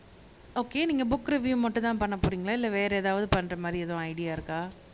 okay நீங்க book review மட்டும்தான் பண்ணப் போறீங்களா இல்ல வேற ஏதாவது பண்ற மாரி எதுவும் ஐடியா இருக்கா